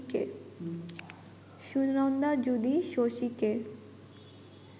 সুনন্দা যদি শশীকে